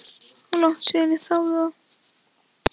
Og langt síðan ég þáði það.